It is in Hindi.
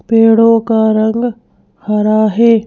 पेड़ों का रंग हरा है।